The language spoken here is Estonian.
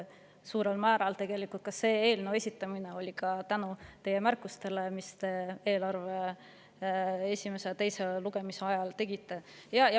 Suurel määral on see eelnõu esitatud ka tänu nendele märkustele, mis te eelarve esimese ja teise lugemise ajal tegite.